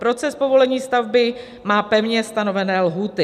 Proces povolení stavby má pevně stanovené lhůty.